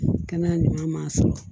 Kɛnɛya ɲuman sɔrɔ